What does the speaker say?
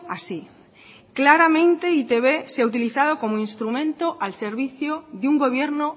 así claramente e i te be se ha utilizado como instrumento al servicio de un gobierno